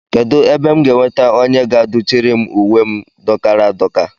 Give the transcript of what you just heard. Kedụ ebe m ga-enweta onye ga-adụchiri m uwe m dọkara adọka?